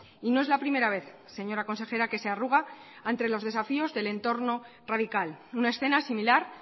y no es la primera vez señora consejera que se arruga ante los desafíos del entorno radical una escena similar